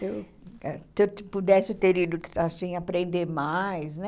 Se eu se eu pudesse ter ido, assim, aprender mais, né?